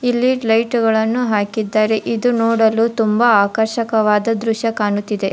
ಇಲ್ಲಿ ಲೈಟುಗಳನ್ನು ಹಾಕಿದ್ದಾರೆ ಇದು ನೋಡಲು ತುಂಬಾ ಆಕರ್ಷಕವಾದ ದೃಶ್ಯ ಕಾಣುತ್ತಿದೆ.